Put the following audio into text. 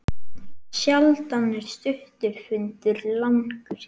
Sjaldan er stuttur fundur langur.